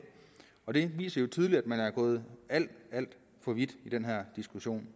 og det viser jo tydeligt at man er gået alt alt for vidt i den her diskussion